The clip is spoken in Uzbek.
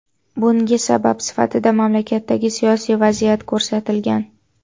Bunga sabab sifatida mamlakatdagi siyosiy vaziyat ko‘rsatilgan.